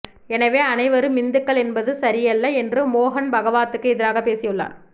எனவே அனைவரும் இந்துக்கள் என்பது சரியல்ல என்று மோகன் பகாவத்துக்கு எதிராக பேசியுள்ளார்